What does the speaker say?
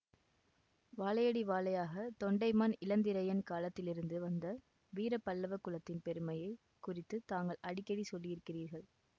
வாழையடி வாழையாக தொண்டைமான் இளந்திரையன் காலத்திலிருந்து வந்த வீர பல்லவ குலத்தின் பெருமையை குறித்து தாங்கள் அடிக்கடி சொல்லியிருக்கிறீர்கள்